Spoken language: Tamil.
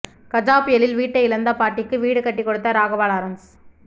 கஜா புயலில் வீட்டை இழந்த பாட்டிக்கு வீடு கட்டிக் கொடுத்த ராகவா லாரன்ஸ்